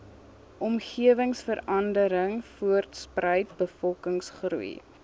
omgewingsverandering voortspruit bevolkingsgroei